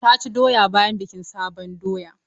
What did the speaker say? Ta ci doya bayan bikin sabon doya.